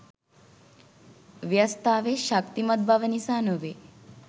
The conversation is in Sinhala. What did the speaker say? වියස්තාවේ ශක්තිමත් බව නිසා නොවේ.